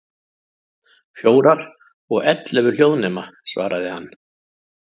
Fjórar, og ellefu hljóðnema, svaraði hann.